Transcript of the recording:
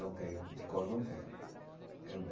Não tenho, de cor não tenho eh.